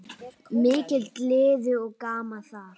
Mikil gleði og gaman þar.